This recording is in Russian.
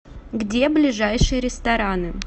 где ближайшие рестораны